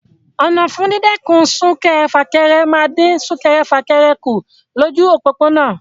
Ọ̀nà fún dídẹ́kun sún-kẹrẹ-fà-kẹrẹ máa ń dín sún-kẹrẹ-fà-kẹrẹ kù lójú òpópónà.